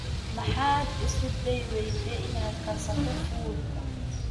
Maxaad isku dayi weyday inaad karsato fuud?